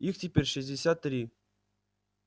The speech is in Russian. их теперь шестьдесят три